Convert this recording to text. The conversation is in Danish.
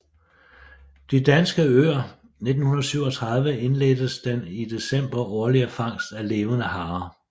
De Danskes Øer 1937 indledtes den i december årlige fangst af levende harer